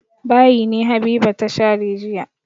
Bayi ne Habiba ta share jiya.